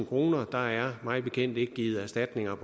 kroner der er mig bekendt ikke givet erstatninger